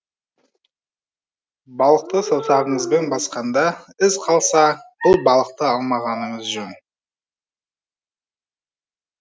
балықты саусағыңызбен басқанда із қалса бұл балықты алмағаныңыз жөн